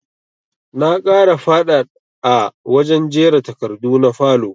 Na ƙara faɗaɗ a wajen jera takardu na falow